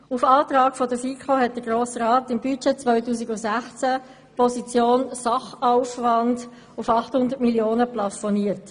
Auf Antrag der FiKo hat der Grosse Rat im Budget 2016 die Position «Sachaufwand» auf 800 Mio. Franken plafoniert.